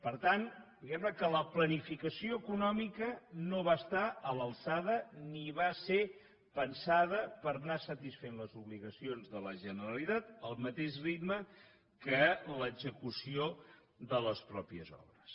per tant diguem ne que la planificació econòmica no va estar a l’alçada ni va ser pensada per anar satisfent les obligacions de la generalitat al mateix ritme que l’execució de les mateixes obres